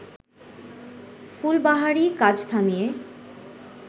ফুলবাহারি কাজ থামিয়ে